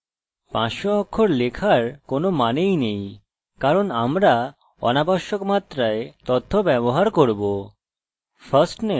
500 অক্ষর লেখার কোনই মানে নেই কারণ আমরা অনাবশ্যক মাত্রায় তথ্য ব্যবহার করব